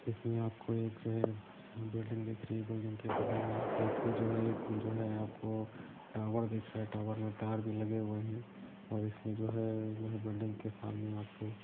इसमे आप एक जो है बिल्डिंग दिख रही है बिल्डिंग बगल मे आपको जो है एक जो है आपको टावर दिख रहा है और टावर दिख रहा है तार भी लगे हुए है और इसमें जो है बिल्डिंग के सामने आपको--